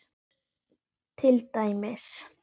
segir til dæmis